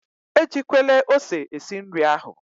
E jikwele ose esi nri ahụ!